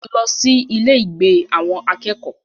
Lọ sí ilé-ìgbé àwọn akẹ́kọ̀ọ́!